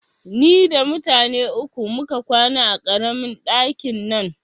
Ni da mutane uku muka kwana a ƙaramin ɗakin nan